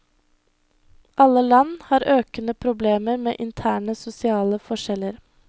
Alle land har økende problemer med interne sosiale forskjeller.